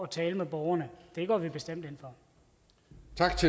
tale med borgerne det går vi bestemt